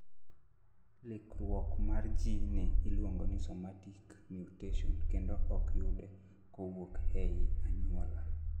likruok mar ji ni iluongo ni somatic mutation kendo ok yude kowuok ei anyuola